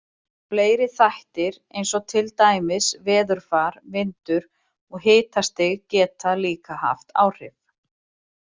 Fleiri þættir eins og til dæmis veðurfar, vindur og hitastig, geta líka haft áhrif.